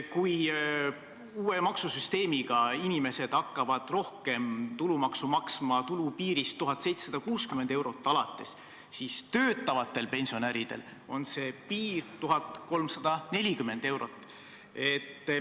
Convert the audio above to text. Kui uue maksusüsteemi tõttu hakkavad inimesed rohkem tulumaksu maksma alates tulupiirist 1760 eurot, siis töötavatel pensionäridel on see piir 1340 eurot.